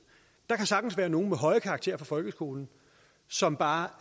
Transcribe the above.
der kan sagtens være nogle med høje karakterer fra folkeskolen som bare